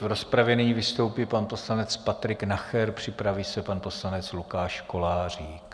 V rozpravě nyní vystoupí pan poslanec Patrik Nacher, připraví se pan poslanec Lukáš Kolářík.